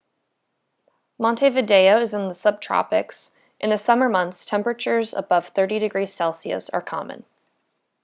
montevideo is in the subtropics; in the summer months temperatures above +30°c are common